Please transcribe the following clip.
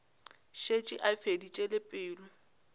šetše a feditše le pelo